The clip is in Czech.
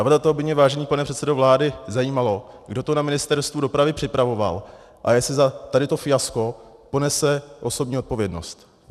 A proto by mě, vážený pane předsedo vlády, zajímalo, kdo to na Ministerstvu dopravy připravoval a jestli za tady to fiasko ponese osobní odpovědnost.